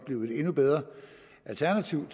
blive et endnu bedre alternativ